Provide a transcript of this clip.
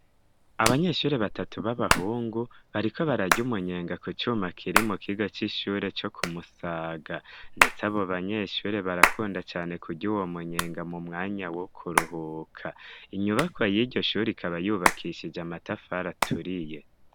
Abanyeshure batatu b'abahungu bariko bararya umunyenga ku cuma kiri mu kigo c'ishure co ku musaga ndetse abo banyeshure barakunda cane kurya uwo mu nyenga mu mwanya wo kuruhuka inyubakwa y'iryo shuri ikaba yubakishije amatafari aturiye.